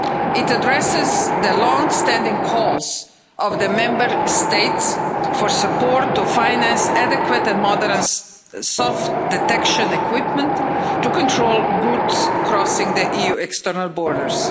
It addresses the long-standing calls of the Member States for support to finance adequate and modern soft detection equipment to control goods crossing the EU's external borders.